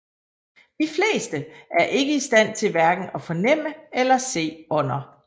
De fleste er ikke i stand til hverken at fornemme eller se ånder